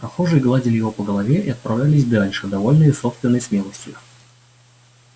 прохожие гладили его по голове и отправлялись дальше довольные собственной смелостью